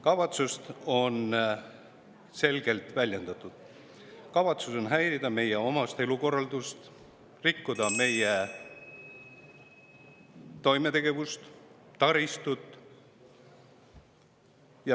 Kavatsus on selgelt väljendatud: kavatsus on häirida meile omast elukorraldust, rikkuda meie toimetegevust ja taristut.